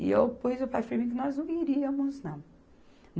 E eu pus o pé firme que nós não iríamos, não.